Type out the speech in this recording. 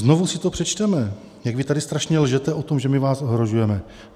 Znovu si to přečteme, jak vy tady strašně lžete o tom, že my vás ohrožujeme.